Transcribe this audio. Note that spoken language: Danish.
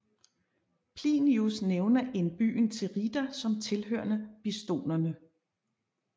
Plinius nævner en byen Tirida som tilhørende bistonerne